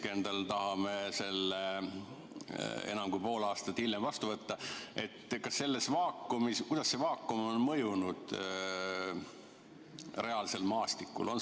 enam kui pool aastat hiljem, tahame selle vastu võtta, siis kuidas see vaakum on mõjunud reaalsel maastikul?